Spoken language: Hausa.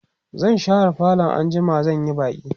zan share falo anjima zan Yi baki